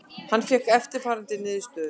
Hann fékk eftirfarandi niðurstöðu: